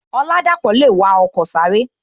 Oladapo le wa ọkọ sáré